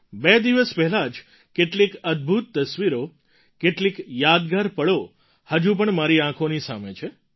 બે દિવસ પહેલાં જ કેટલીક અદ્ભૂત તસવીરો કેટલીક યાદગાર પળો હજુ પણ મારી આંખોની સામે છે